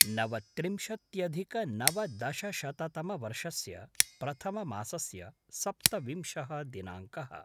नवत्रिंशत्यधिकनवदशशततमवर्षस्य प्रथममासस्य सप्तविंशः दिनाङ्कः